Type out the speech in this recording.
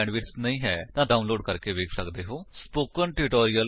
ਜੇਕਰ ਤੁਹਾਡੇ ਕੋਲ ਚੰਗੀ ਬੈਂਡਵਿਡਥ ਨਹੀਂ ਹੈ ਤਾਂ ਤੁਸੀ ਇਸਨੂੰ ਡਾਉਨਲੋਡ ਕਰਕੇ ਵੇਖ ਸੱਕਦੇ ਹੋ